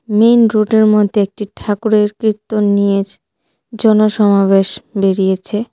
Main রোডের মধ্যে একটি ঠাকুরের কীর্তন নিয়ে জনসমাবেশ বেরিয়েছে.